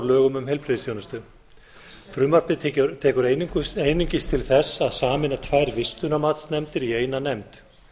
lögum um heilbrigðisþjónustu frumvarpið tekur einungis til þess að sameina tvær vistunarmatsnefndir í eina nefnd